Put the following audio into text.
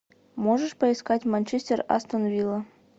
можешь поискать манчестер астон вилла